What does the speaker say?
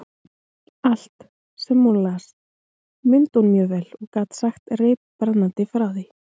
Allt, sem hún las, mundi hún mjög vel og gat sagt reiprennandi frá því.